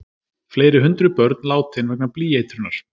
Fleiri hundruð börn látin vegna blýeitrunar